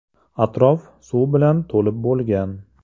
Atrof suv bilan to‘lib bo‘lgan.